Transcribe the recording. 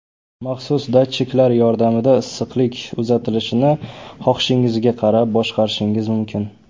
Maxsus datchiklar yordamida issiqlik uzatilishini xohishingizga qarab boshqarishingiz mumkin.